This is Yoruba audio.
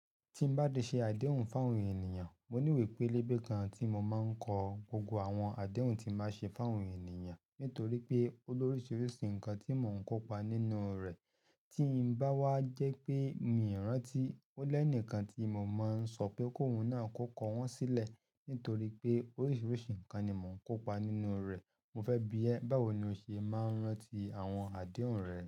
Tí n bá de ṣe àdéhùn fún àwọn ènìyàn, mo ní ìwé pélébé kan tí mo máa ń kọ, gbogbo àwọn àdéhùn tí bá ṣe fún àwọn ènìyàn. Nítorí pé olóríṣiríṣi nǹkan tí mò ń kópa nínú rẹ̀, tí ń bá wá jẹ́ pé mi ò rántí, ó lẹ́ni kan tí mo máa ń sọ pé kóhun náà kọ́kọ wọ́n sílẹ̀. Nítorí pé oríṣiríṣi nǹkan ni mò ń kópa nínú rẹ̀. Mo fẹ́ bi ẹ́, báwo ni o ṣe máa ń rántí àwọn àdéhùn rẹ?